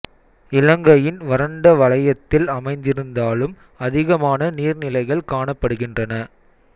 இலங்கையின் வறண்ட வலயத்தில் அமைந்திருந்தாலும் அதிகமான நீர் நிலைகள் காணப்படுகின்றன